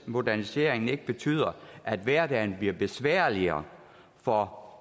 moderniseringen ikke betyder at hverdagen bliver besværligere for